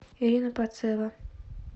ирина пацева